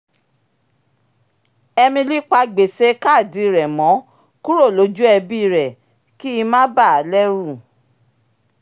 emily pa gbèsè kaadi rẹ mọ́ kúrò lójú ẹbí rẹ kí í má bà á lẹ́rù